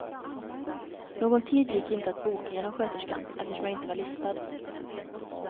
Någon tid gick inte att boka genom sköterskan eftersom jag inte var listad.